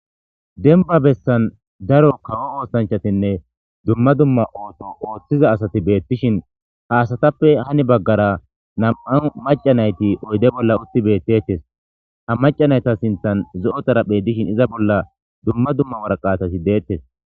Dembba bessan kawo oosanchachtinne dumma dumma ooso ooththiza asati beettishin ha asatappe hani baggara nami'u macca nayti oyde bolla utti beettetes. Ha macca nayta sinththan zo'o xaraphey dishin izan dumma dumma waraqatati deettes.